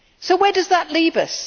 Where does that leave us?